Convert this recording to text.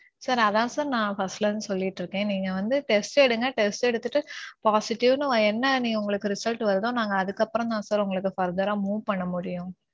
sir அதான் sir நான் first ல இருந்து சொல்லிட்டு இருக்கேன். நீங்க வந்து test எடுங்க test எடுத்துட்டு positive னு என்ன உங்களுக்கு result வருதோ நாங்க அதுக்கு அப்பறோம் தான் sir உங்களுக்கு further move பண்ண முடியும்.